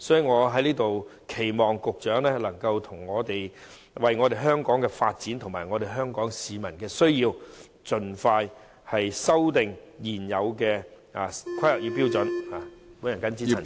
我在此期望局長能夠為香港的發展及市民的需要，盡快修訂現有的《香港規劃標準與準則》。